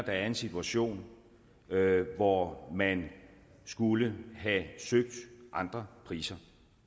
er en situation hvor man skulle have søgt andre priser